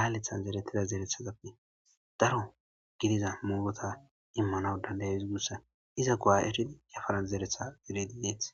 laalethan zeretida zerethazappe daro gidiza mugota immanaw danday izugussan iza gowa eridi yafaran zeretha eredi deeth.